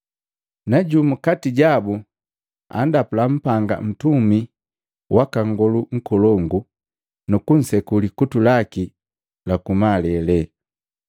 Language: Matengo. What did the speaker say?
Na jumu kati jabu andapula mpanga ntumi waka nngolu nkolongu, nuku nseku likutu laki la kumalele.